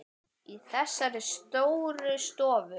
Í þessari stóru stofu?